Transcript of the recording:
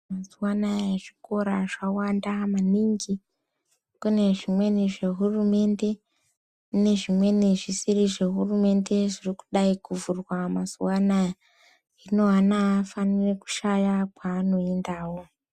Mazuwanaya zvikora zvawanda maningi, kune zvimweni zvehurumende, kune zvimweni zvisiri zvehurunde zviri kudayi kuvhurwa mazuvaanaya, hino ana afaniri kushaya kwaano yendawo.